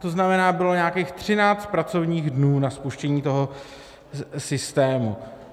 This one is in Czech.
To znamená, bylo nějakých 13 pracovních dnů na spuštění toho systému.